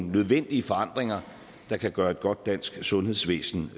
nødvendige forandringer der kan gøre et godt dansk sundhedsvæsen